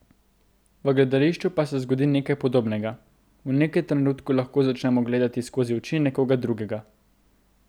V gledališču pa se zgodi nekaj podobnega, v nekem trenutku lahko začnemo gledati skozi oči nekoga drugega.